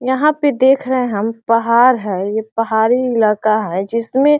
यहाँ पे देख रहे हम। पहाड़ है। ये पहाड़ी इलाका है। जिसमें --